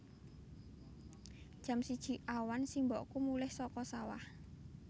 Jam siji awan simbokku mulih saka sawah